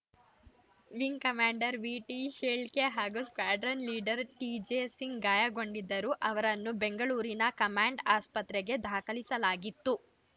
wing commander VT ಶೇಳ್ಕೆ ಹಾಗೂ ಸ್ಕಾಡ್ರರ್ನ್‌ leader TJ Singh ಗಾಯಗೊಂಡಿದ್ದರು ಅವರನ್ನು ಬೆಂಗಳೂರಿನ ಕಮಾಂಡ್‌ ಆಸ್ಪತ್ರೆಗೆ ದಾಖಲಿಸಲಾಗಿತ್ತು